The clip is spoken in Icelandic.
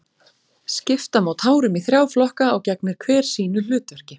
Skipta má tárum í þrjá flokka og gegnir hver sínu hlutverki.